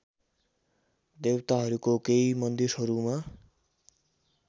देवताहरूको केही मन्दिरहरूमा